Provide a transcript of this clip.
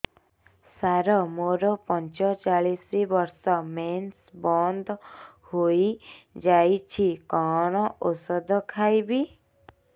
ସାର ମୋର ପଞ୍ଚଚାଳିଶି ବର୍ଷ ମେନ୍ସେସ ବନ୍ଦ ହେଇଯାଇଛି କଣ ଓଷଦ ଖାଇବି